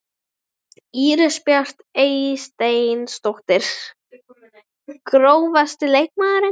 Íris Björk Eysteinsdóttir Grófasti leikmaðurinn?